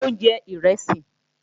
Mò ń jẹ ìrẹsì